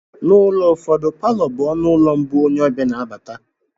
N'ụlọ ụfọdụ, Palọ bụ ọnụ ụlọ mbụ onye ọbịa na abata